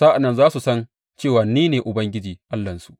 Sa’an nan za su san cewa ni ne Ubangiji Allahnsu.